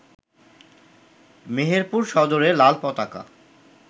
মেহেরপুর সদরে লাল পতাকা